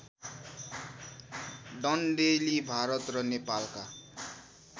डन्डेलि भारत र नेपालका